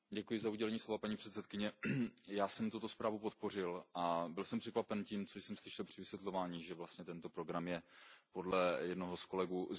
Paní předsedající, já jsem tuto zprávu podpořil a byl jsem překvapen tím, co jsem slyšel při vysvětlování, že vlastně tento program je podle jednoho z kolegů zbytečný.